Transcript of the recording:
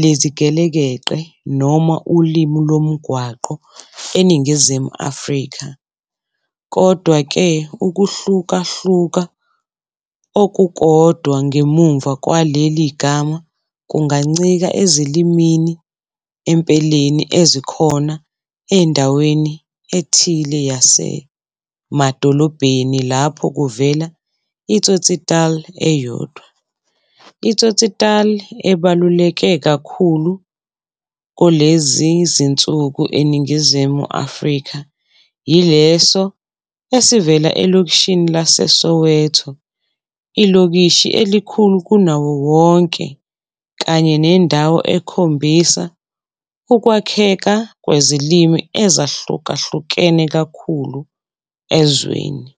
lezigelekeqe noma ulimi lomgwaqo eNingizimu Afrika. Kodwa-ke, ukuhlukahluka okukodwa ngemuva kwaleli gama kungancika ezilimini empeleni ezikhona endaweni ethile yasemadolobheni lapho kuvela i-tsotsitaal eyodwa. I-tsotsitaal ebaluleke kakhulu kulezi zinsuku eNingizimu Afrika yileso esivela elokishini laseSoweto, ilokishi elikhulu kunawo wonke kanye nendawo ekhombisa ukwakheka kwezilimi ezahlukahlukene kakhulu ezweni.